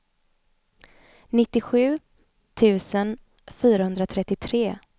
nittiosju tusen fyrahundratrettiotre